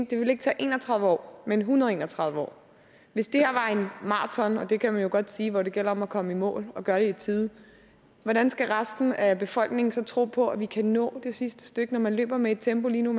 det vil ikke tage en og tredive år men en hundrede og en og tredive år hvis det her var maraton og det kan man jo godt sige hvor det gælder om at komme i mål og gøre det i tide hvordan skal resten af befolkningen så tro på at vi kan nå det sidste stykke når man løber med et tempo lige nu